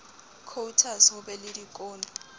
quotas ho be le dikotlo